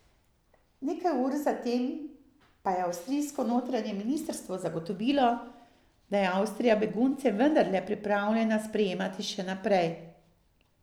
Nekaj ur zatem pa je avstrijsko notranje ministrstvo zagotovilo, da je Avstrija begunce vednarle pripravljena sprejemati še naprej.